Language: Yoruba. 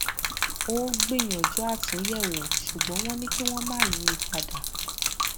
ó gbìyànjú àtúnyẹwò ṣùgbọn wọn ní kí wọn má yí i padà